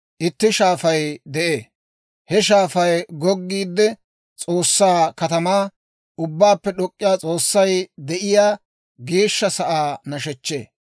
Itti shaafay de'ee. He shaafay goggiide, S'oossaa katamaa, Ubbaappe D'ok'k'iyaa S'oossay de'iyaa geeshsha sa'aa nashechchee.